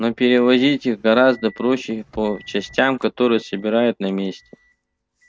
но перевозить их гораздо проще по частям которые собирают на месте